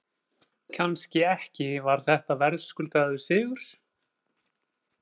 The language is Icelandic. Kannski ekki Var þetta verðskuldaður sigur?